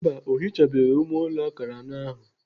Mba, ọ hichabeghị ime ụlọ akara anọ ahụ.